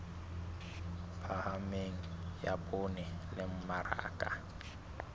phahameng ya poone le mmaraka